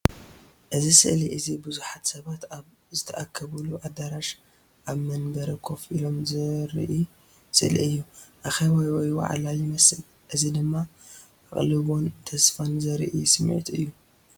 እዚ ስእሊ እዚ ብዙሓት ሰባት ኣብ ዝተኣከቡሉ ኣዳራሽ ኣብ መንበር ኮፍ ኢሎም ዘርኢ ስእሊ እዩ። ኣኼባ ወይ ዋዕላ ይመስል። እዚ ድማ ኣቓልቦን ተስፋን ዘርኢ ስምዒት እዩ።